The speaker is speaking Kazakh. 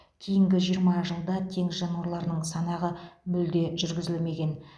кейінгі жиырма жылда теңіз жануарларының санағы мүлде жүргізілмеген